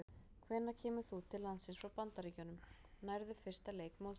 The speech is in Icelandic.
Hvenær kemur þú til landsins frá Bandaríkjunum, nærðu fyrsta leik mótsins?